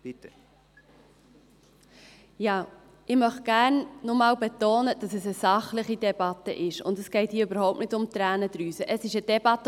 Ich möchte gerne noch einmal betonen, dass es eine sachliche Debatte ist und es hier überhaupt nicht um Tränendrüsen geht.